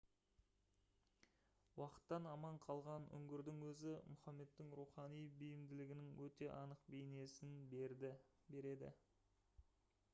уақыттан аман қалған үңгірдің өзі мұхаммедтің рухани бейімділігінің өте анық бейнесін береді